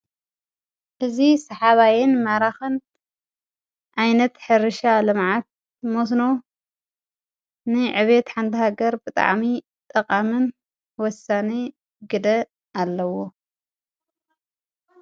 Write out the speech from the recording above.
እዚ ስሓባይን ማራኽን ዓይነት ሕርሻ ልምዓት መስኖ ንዕብየት ሓንቲ ሃገር ብጣዕሚ ጠቃምን ወሳኒ ግደ ኣለዎ።